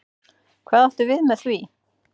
Hvað áttu við með því?